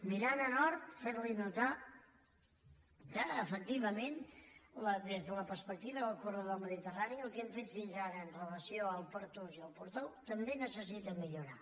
mirant a nord fer li notar que efectivament des de la perspectiva del corredor mediterrani el que hem fet fins ara amb relació al pertús i a portbou també necessita millorar